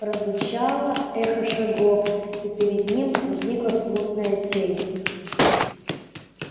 прозвучало эхо шагов и перед ним возникла смутная тень